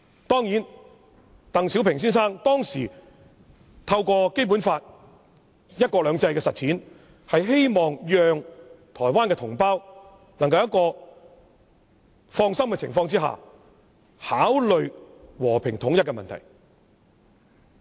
當然，鄧小平先生當時透過《基本法》"一國兩制"的實踐，是希望讓台灣同胞能夠在放心的情況下，考慮和平統一的問題。